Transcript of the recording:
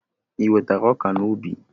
I wetara ọka n'ubi?